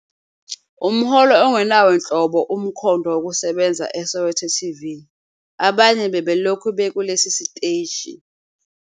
umholo ongenawo nhlobo umkhondo wokusebenza eSoweto TV, abanye bebelokhu bekulesi siteshi